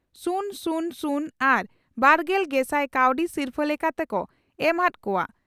ᱥᱩᱱ ᱥᱩᱱ ᱥᱩᱱ ᱟᱨ ᱵᱟᱨᱜᱮᱞ ᱜᱮᱥᱟᱭ ᱠᱟᱹᱣᱰᱤ ᱥᱤᱨᱯᱷᱟᱹ ᱞᱮᱠᱟᱛᱮ ᱠᱚ ᱮᱢ ᱦᱟᱫ ᱠᱚᱜᱼᱟ ᱾